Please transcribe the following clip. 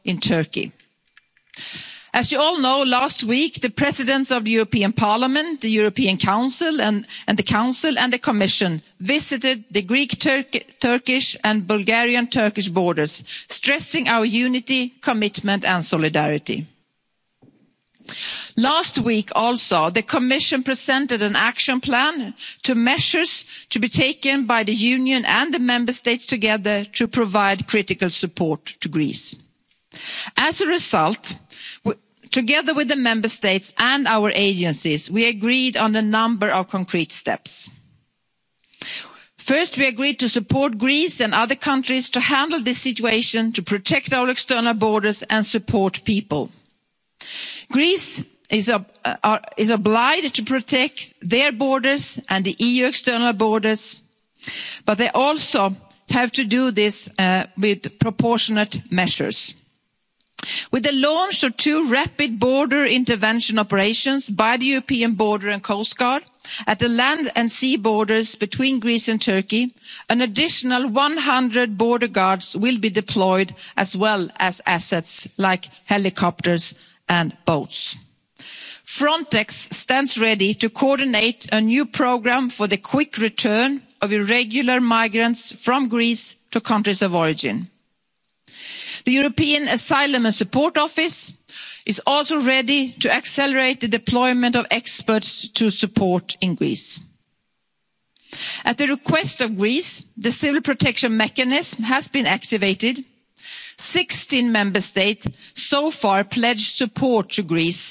these areas. And third, of course we must share responsibilities for supporting Syrian refugees, also in Turkey. As you all know, last week the Presidents of the European Parliament, the European Council, the Council and the Commission visited the Greek Turkish and Bulgarian Turkish borders, stressing our unity, commitment and solidarity. Last week also, the Commission presented an action plan on measures to be taken by the Union and the Member States together to provide critical support to Greece. As a result, together with the Member States and our agencies, we agreed on a number of concrete steps. First, we agreed to support Greece and other countries to handle this situation, to protect our external borders and support people. Greece is obliged to protect its borders and the EU external borders, but it also has to do this with proportionate measures. With the launch of two rapid border intervention operations by the European Border and Coast Guard at the land and sea borders between Greece and Turkey, an additional 100 border guards will be deployed as well as assets like helicopters and boats. Frontex stands ready to coordinate a new programme for the quick return of irregular migrants from Greece to countries of origin. The European Asylum Support Office is also ready to accelerate the deployment of experts to support in Greece. At the request of Greece, the Civil Protection Mechanism has been activated 16 Member States have so far pledged